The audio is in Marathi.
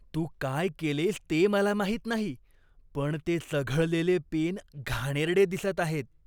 तू काय केलेस ते मला माहीत नाही, पण ते चघळलेले पेन घाणेरडे दिसत आहेत.